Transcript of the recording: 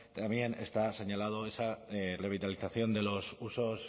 también está señalada esa revitalización de los usos